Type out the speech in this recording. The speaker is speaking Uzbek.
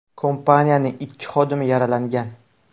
Kompaniyaning ikki xodimi yaralangan.